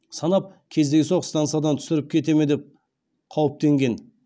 санап кездейсоқ стансадан түсіріп кете ме деп қауіптенген